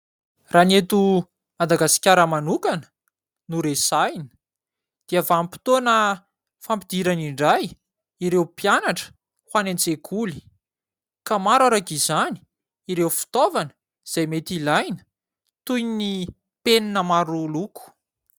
Raha ny eto Madagasikara manokana no resahina, dia vanim-potoana fampidirana indray ireo mpianatra ho any an-tsekoly ka maro araka izany ireo fitaovana izay mety ilaina toy ny penina maro loko.